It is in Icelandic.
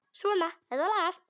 Svona, þetta lagast